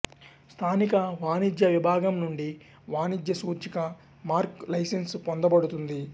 స్థానిక వాణిజ్య విభాగం నుండి వాణిజ్య సూచిక మార్క్ లైసెన్స్ పొందబడుతుంది